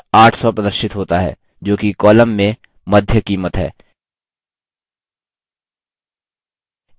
उत्तर 800 प्रदर्शित होता है जोकि column में मध्य कीमत है